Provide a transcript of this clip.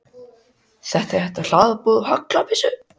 Kristján Már Unnarsson: Þetta er þetta forhlað úr haglabyssu?